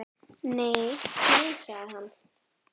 Nei, nei sagði hann.